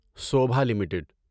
Sobha limited